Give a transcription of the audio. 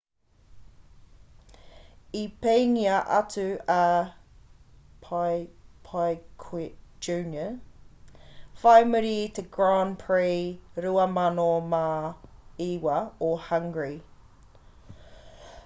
i peingia atu a piquet jr whai muri i te grand prix 2009 o hungry